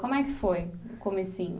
Como é que foi o comecinho?